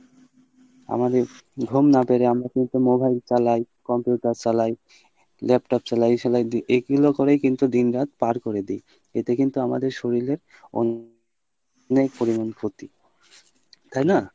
আমাদের ঘুম না পেরে আমরা কিন্তু mobile চালাই computer চালাই laptop চালাই এই চালাই এইগুলা করেই কিন্তু দিন রাত পার করে দেই এতে কিন্তু আমাদের শরীলে অনেক পরিমানে ক্ষতি , তাইনা?